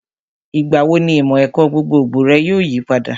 Ìgbà wo ni ìmọ̀ ẹ̀kọ́ gbogbogbò rẹ yóò yipadà?